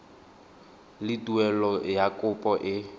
le tuelo ya kopo e